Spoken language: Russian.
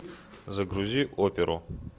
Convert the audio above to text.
загрузи оперу